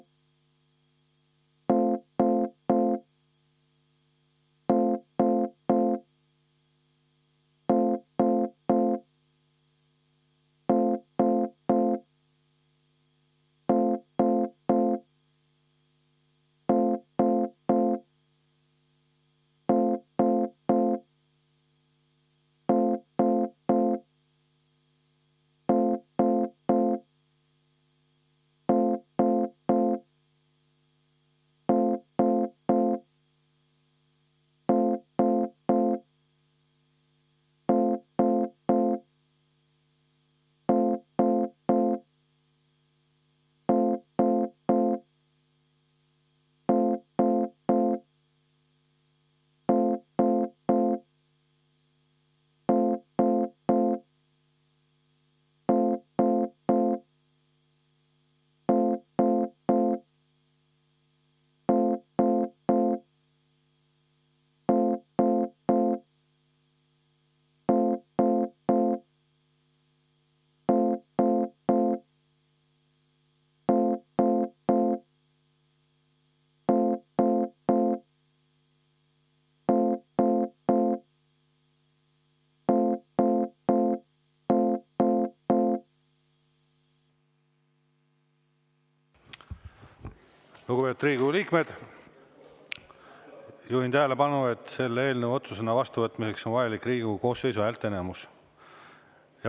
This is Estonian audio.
Lugupeetud Riigikogu liikmed, juhin tähelepanu, et selle eelnõu otsusena vastuvõtmiseks on vajalik Riigikogu koosseisu häälteenamus.